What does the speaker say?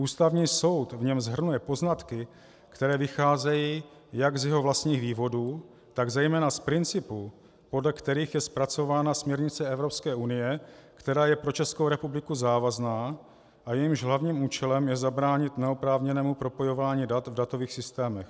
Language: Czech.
Ústavní soud v něm shrnuje poznatky, které vycházejí jak z jeho vlastních vývodů, tak zejména z principů, podle kterých je zpracována směrnice Evropské unie, která je pro Českou republiku závazná a jejímž hlavním účelem je zabránit neoprávněnému propojování dat v datových systémech.